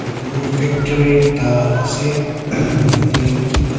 etutu toh factory ekta ase yate kiba--